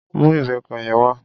Mú ìbẹpẹ yẹn wá.